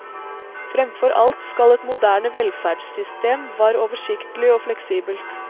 Fremfor alt skal et moderne velferdssystem var oversiktlig og fleksibelt.